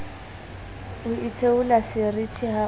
o itheola seriti ha o